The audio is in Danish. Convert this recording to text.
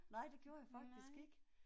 Nej det gjorde jeg faktisk ikke